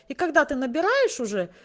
и когда ты набираешь уже